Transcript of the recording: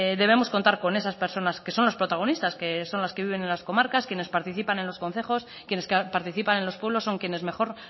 debemos contar con esas personas que son los protagonistas que son las que viven en las comarcas quienes participan en los concejos quienes participan en los pueblos son quienes mejor